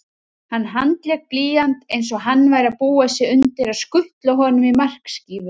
Hann handlék blýant einsog hann væri að búa sig undir að skutla honum í markskífu